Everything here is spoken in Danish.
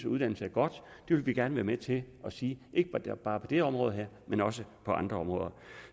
uddannelse er godt det vil vi gerne være med til at sige ikke bare på det her område men også på andre områder